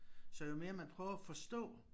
Så jo mere man prøver at forstå